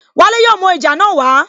Wale yóò mú ohun ìjà náà wa